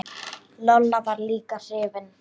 Lolla var líka hrifin.